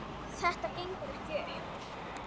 Þetta gengur ekki upp.